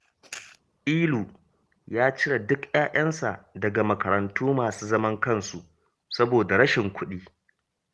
Ilu ya cire duk 'ya'yansa daga makarantu masu zaman kansu, saboda rashin kuɗi